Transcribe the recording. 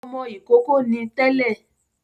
Ọmọ ìkókó ni tẹ́lẹ̀